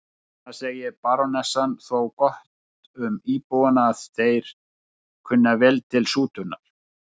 Það segir barónessan þó gott um íbúana að þeir kunna vel til sútunar.